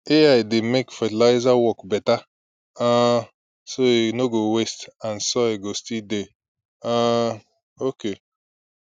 ai dey make fertilizer work better um so e no go waste and soil go still dey um okay